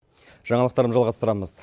жаңалықтарды жалғастырамыз